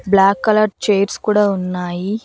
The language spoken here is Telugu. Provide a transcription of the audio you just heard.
బ్లాక్ కలర్ చైర్స్ కూడా ఉన్నాయి.